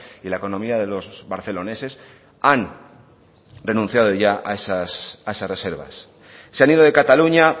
y la economía de los barceloneses han renunciado ya a esas reservas se han ido de cataluña